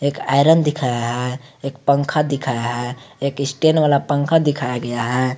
एक आयरन दिखाया है एक पंखा दिखाया है एक स्टैंड वाला पंखा दिखाया गया है।